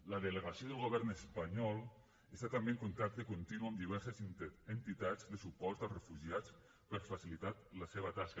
la delegació del govern espanyol està també en contacte continu amb diverses entitats de suport a refugiats per facilitar la seva tasca